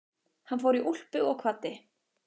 Hann fór í úlpu og kvaddi.